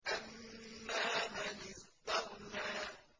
أَمَّا مَنِ اسْتَغْنَىٰ